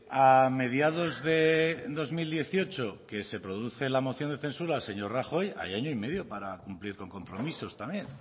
a mediados de dos mil dieciocho que se produce la moción de censura al señor rajoy hay año y medio para cumplir con compromisos también